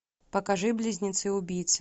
покажи близнецы убийцы